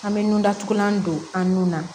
An bɛ nun datugulan don an nun na